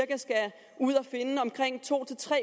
ud at finde omkring to